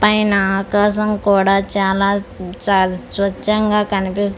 పైన ఆకాశం కూడా చాలా చ స్వచ్ఛంగా కనిపిస్--